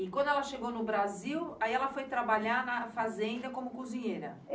E quando ela chegou no Brasil, aí ela foi trabalhar na fazenda como cozinheira?